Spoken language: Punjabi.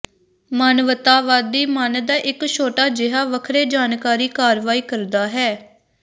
ਮਾਨਵਤਾਵਾਦੀ ਮਨ ਦਾ ਇੱਕ ਛੋਟਾ ਜਿਹਾ ਵੱਖਰੇ ਜਾਣਕਾਰੀ ਕਾਰਵਾਈ ਕਰਦਾ ਹੈ